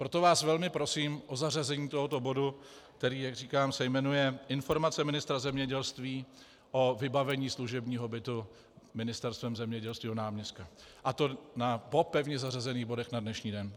Proto vás velmi prosím o zařazení tohoto bodu, který, jak říkám, se jmenuje Informace ministra zemědělství o vybavení služebního bytu Ministerstvem zemědělství náměstka, a to po pevně zařazených bodech na dnešní den.